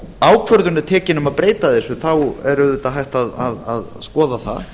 ákvörðun er tekin um að breyta þessu þá er auðvitað hægt að skoða það